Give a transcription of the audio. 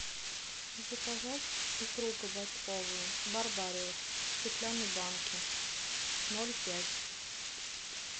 заказать икру кабачковую барбариус в стеклянной банке ноль пять